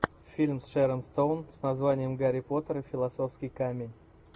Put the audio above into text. фильм с шерон стоун с названием гарри поттер и философский камень